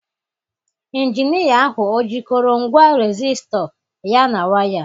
Injinia ahụ ọ jikọrọ ngwa resisto ya na waya?